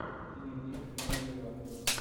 дневник рыжего